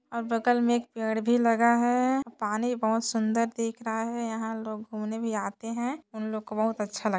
और बगल में एक पेड़ भी लगा है पानी बहुत सुंदर दिख रहा है यहाँ लोग घूमने भी आते हैं उन लोगों को बहुत अच्छा लग--